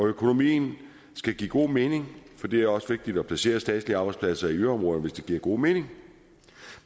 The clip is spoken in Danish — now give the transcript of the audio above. økonomien skal give god mening for det er også vigtigt at placere statslige arbejdspladser i yderområderne hvis det giver god mening